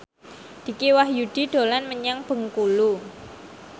Dicky Wahyudi dolan menyang Bengkulu